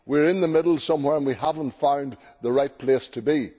We are in the middle somewhere and we have not found the right place to be.